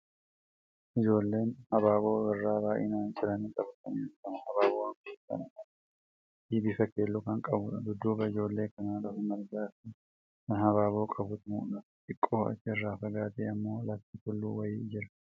Ijoolleen habaaboo birraa baay'inaan ciranii qabatanii argamu. Habaaboon kun kan uumamaa fi bifa keelloo kan qabuudha. Dudduuba ijoollee kana lafa margaa fi kan habaaboo qabutu mul'ata. Xiqqoo achi irraa fagaatee ammoo lafti tulluu wayii jira.